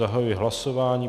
Zahajuji hlasování.